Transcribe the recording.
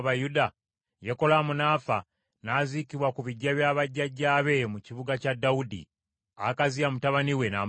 Yekolaamu n’afa n’aziikibwa ku biggya bya bajjajjaabe mu kibuga kya Dawudi. Akaziya mutabani we n’amusikira.